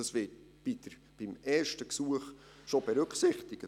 Das wird beim ersten Gesuch schon berücksichtigt.